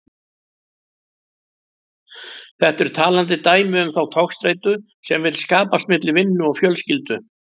Þetta er talandi dæmi um þá togstreitu sem vill skapast milli vinnu og fjölskyldu.